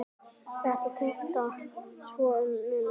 Þetta tikkar svo um munar!